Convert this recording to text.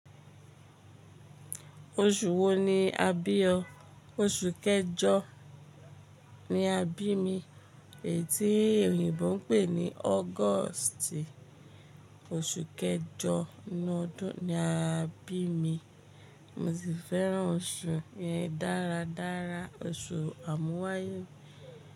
Oṣù wo ni a bí ọ? Oṣù kẹjọ ni a bí mi, èyí tí òyìnbó ń pè ní August. Oṣù kẹjọ nínú ọdún ni a bí mi. Mo sì fẹ́ràn oṣù yẹn dáradára, oṣù àmúwáyé.